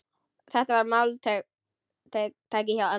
Þetta var máltæki hjá ömmu.